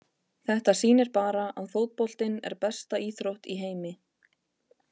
Þetta sýnir bara að fótboltinn er besta íþrótt í heimi.